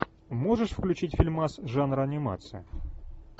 можешь включить фильмас жанра анимация